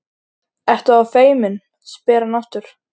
Ertu þá feimin, spyr hann aftur.